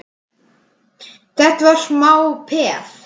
Þetta var smá peð!